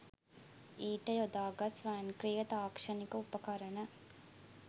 ඊට යොදාගත් ස්වයංක්‍රීය තාක්ෂණික උපකරණ